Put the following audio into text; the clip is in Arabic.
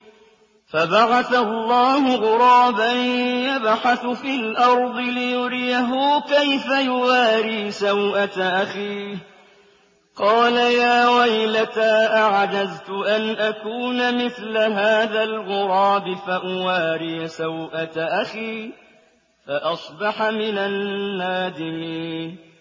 فَبَعَثَ اللَّهُ غُرَابًا يَبْحَثُ فِي الْأَرْضِ لِيُرِيَهُ كَيْفَ يُوَارِي سَوْءَةَ أَخِيهِ ۚ قَالَ يَا وَيْلَتَا أَعَجَزْتُ أَنْ أَكُونَ مِثْلَ هَٰذَا الْغُرَابِ فَأُوَارِيَ سَوْءَةَ أَخِي ۖ فَأَصْبَحَ مِنَ النَّادِمِينَ